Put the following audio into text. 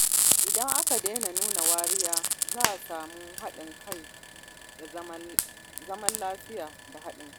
Idan aka daina nuna wariya, za a samu zaman lafiya da haɗin kai.